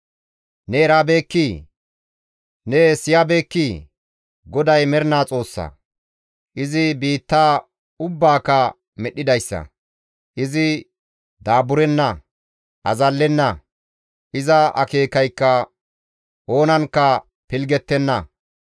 Ne erabeekkii? Ne siyabeekkii? GODAY mernaa Xoossa; izi biittaa ubbaaka medhdhidayssa. Izi daaburenna; azallenna; iza akeekaykka oonankka pilggettenna.